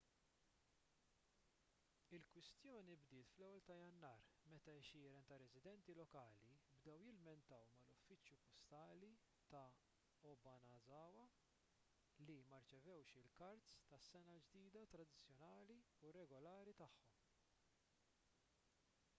il-kwistjoni bdiet fl-1 ta' jannar meta għexieren ta' residenti lokali bdew jilmentaw mal-uffiċċju postali ta' obanazawa li ma rċevewx il-kards tas-sena l-ġdida tradizzjonali u regolari tagħhom